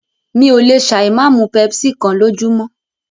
Mí ò lè ṣà ì máa mú pepsi kán lójúmọ́.